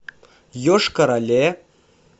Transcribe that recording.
йошкар оле